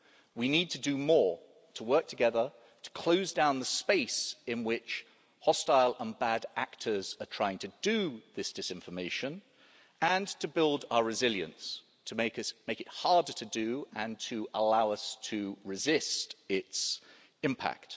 We need to do more to work together to close down the space in which hostile and bad actors are trying to do this disinformation and to build our resilience to make it harder to do and to allow us to resist its impact.